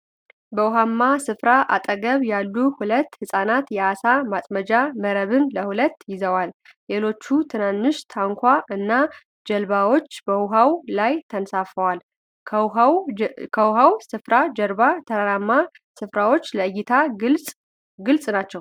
በዉሃማ ስፍራ አጠገብ ያሉ ሁለት ህጻናት የአሳ ማጥመጃ መረብን ለሁለት ይዘዋል። ሌሎች ትናንሽ ታንኳ እና ጀልባዎች በዉሃው ላይ ተንሳፈዋል። ከዉሃው ስፍራ ጀርባ ተራራማ ስፍራዎች ለእይታ ግልጽ ናቸው።